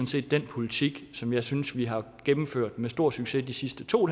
set den politik som jeg synes vi har gennemført med stor succes de sidste to